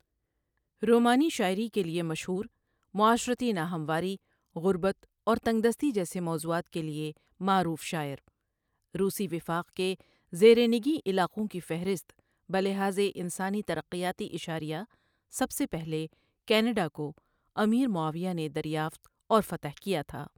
رومانی شاعری کے لیے مشہور، معاشرتی ناہمواری، غربت اور تنگدستی جیسے موضوعات کے لئے معروف شاعر ؔؔ روسی وفاق کے زیر نگین علاقں کی فہرست بلحاظ انسانی ترقیاتی اشاریہ سب سے پہلے کینیڈا کو امیر معاویه نے دریافت اور فتح کیا تها ۔